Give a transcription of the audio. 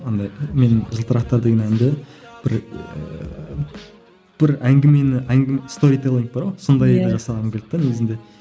андай мен жылтырықтар деген әнді бір ііі бір әңгімені сторитиллинг бар ғой сондайды жасағым келді де негізінде